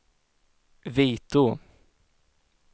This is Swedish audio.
Vitå